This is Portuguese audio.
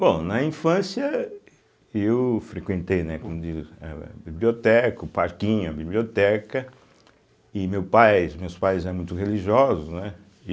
Bom, na infância, eu frequentei né como disse eh a biblioteca, o parquinho, a biblioteca, e meu pais meus pais eram muito religiosos, né.